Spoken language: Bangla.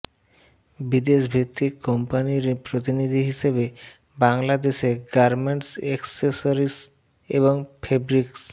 বিদেশভিত্তিক কোম্পানির প্রতিনিধি হিসেবে বাংলাদেশে গার্মেন্টস এক্সেসরিস এবং ফেব্রিক্স